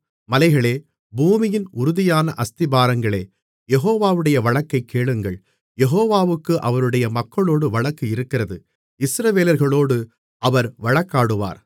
மலைகளே பூமியின் உறுதியான அஸ்திபாரங்களே யெகோவாவுடைய வழக்கைக் கேளுங்கள் யெகோவாவுக்கு அவருடைய மக்களோடு வழக்கு இருக்கிறது இஸ்ரவேலர்களோடு அவர் வழக்காடுவார்